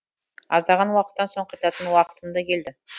аздаған уақыттан соң қайтатын уақытым да келді